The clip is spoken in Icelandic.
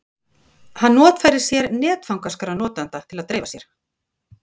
Hann notfærir sér netfangaskrá notenda til að dreifa sér.